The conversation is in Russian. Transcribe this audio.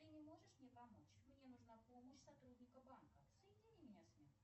ты не можешь мне помочь мне нужна помощь сотрудника банка соедини меня с ним